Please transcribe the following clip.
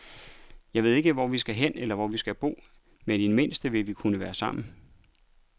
Jeg ved ikke, hvor vi skal hen, eller hvor vi skal bo, men i det mindste vil vi nu kunne være sammen.